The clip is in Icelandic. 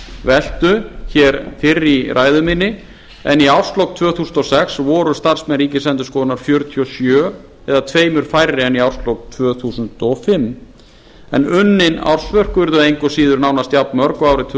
starfsmannaveltu hér fyrr í ræðu minni en í árslok tvö þúsund og sex voru starfsmenn ríkisendurskoðunar fjörutíu og sjö eða tveimur færri en í árslok tvö þúsund og fimm en unnin ársverk urðu engu að síður nánast jafnmörg og árið tvö